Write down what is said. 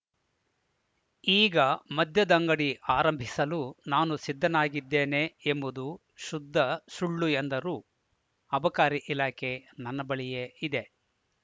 ಈಗ ಮದ್ಯದಂಗಡಿ ಆರಂಭಿಸಲು ನಾನು ಸಿದ್ಧನಾಗಿದ್ದೇನೆ ಎಂಬುದು ಶುದ್ಧ ಸುಳ್ಳು ಎಂದರು ಅಬಕಾರಿ ಇಲಾಖೆ ನನ್ನ ಬಳಿಯೇ ಇದೆ